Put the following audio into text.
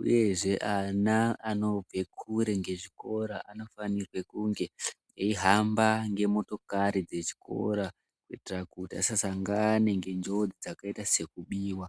uyezve ana anobve kure ngezvikora anofanirwe kunge anofanirwe kunge eihamba ngemotokari dzechikora kuitira kuti asasangane ngenjodzi dzakaita sekubiwa.